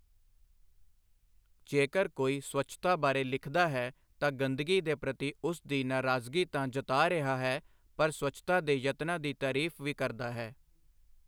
ਜੇਕਰ ਕੋਈ ਸਵੱਛਤਾ ਬਾਰੇ ਲਿਖਦਾ ਹੈ ਤਾਂ ਗੰਦਗੀ ਦੇ ਪ੍ਰਤੀ ਉਸ ਦੀ ਨਾਰਾਜ਼ਗੀ ਤਾਂ ਜਤਾ ਰਿਹਾ ਹੈ ਪਰ ਸਵੱਛਤਾ ਦੇ ਯਤਨਾਂ ਦੀ ਤਾਰੀਫ ਵੀ ਕਰਦਾ ਹੈ।